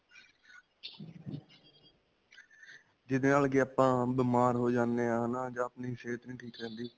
ਜਿਦੇ ਨਾਲ ਕਿ ਆਪਾਂ ਬੀਮਾਰ ਹੋ ਜਾਂਦੇ ਹਾਂ. ਹੈ ਨਾ? ਜਾਂ ਆਪਣੀ ਸਿਹਤ ਨਹੀਂ ਠੀਕ ਰਹਿੰਦੀ.